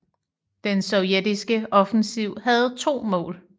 Den sovjetiske offensiv havde to mål